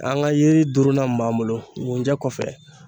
An ka yiri duurunan mun b'an bolo gunjɛ kɔfɛ.